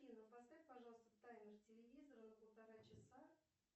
афина поставь пожалуйста таймер телевизора на полтора часа